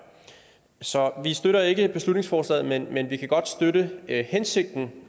så vi støtter ikke beslutningsforslaget men men vi kan godt støtte hensigten